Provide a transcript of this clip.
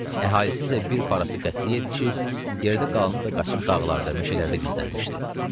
Əhalisi isə bir parası qaçıb, yeridə qalanı da qaçıb dağlarda, meşələrdə gizlənmişdi.